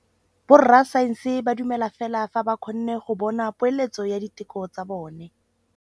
Borra saense ba dumela fela fa ba kgonne go bona poeletsô ya diteko tsa bone.